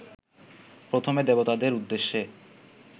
প্রথমে দেবতাদের উদ্দেশ্যে